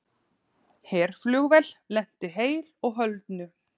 Herflugvél lenti heilu og höldnu